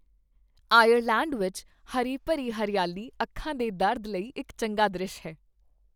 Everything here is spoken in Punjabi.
ਆਇਰਲੈਂਡ ਵਿੱਚ ਹਰੀ ਭਰੀ ਹਰਿਆਲੀ ਅੱਖਾਂ ਦੇ ਦਰਦ ਲਈ ਇੱਕ ਚੰਗਾ ਦ੍ਰਿਸ਼ ਹੈ